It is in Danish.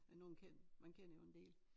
Det nogen kendt man kender jo en del